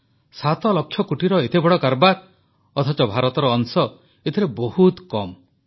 7 ଲକ୍ଷ କୋଟିର ଏତେ ବଡ଼ କାରବାର ଅଥଚ ଭାରତର ଅଂଶ ଏଥିରେ ବହୁତ କମ ରହିଛି